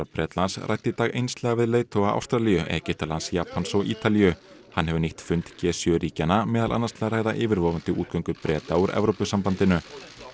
Bretlands ræddi í dag einslega við leiðtoga Ástralíu Egyptalands Japans og Ítalíu hann hefur nýtt fund g sjö ríkjanna meðal annars til að ræða yfirvofandi útgöngu Breta úr Evrópusambandinu